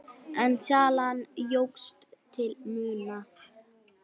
En salan jókst til muna.